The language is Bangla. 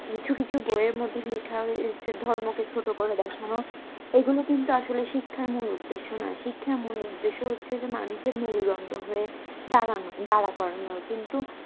কিছু কিছু বইয়ের মধ্যে লিখা হয়েছে ধর্মকে ছোটো করে দেখানো এগুলো কিন্তু আসলে শিক্ষার মূল উদ্দেশ্য নই শিক্ষার মূল উদ্দেশ্য হচ্ছে যে মানুষ মেরুদণ্ড হয়ে দাঁড়ানো দারাকরানো কিন্তু